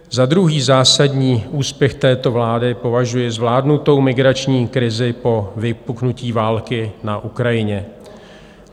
Za druhý zásadní úspěch této vlády považuji zvládnutou migrační krizi po vypuknutí války na Ukrajině.